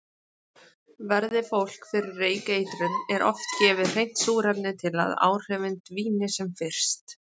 Verði fólk fyrir reykeitrun er oft gefið hreint súrefni til að áhrifin dvíni sem fyrst.